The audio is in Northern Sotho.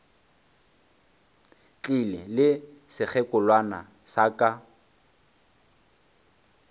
tlile le sekgekolwana sa ka